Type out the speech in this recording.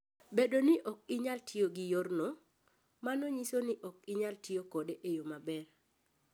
Bedo ni ok inyal tiyo gi yorno, mano nyiso ni ok inyal tiyo kode e yo maber.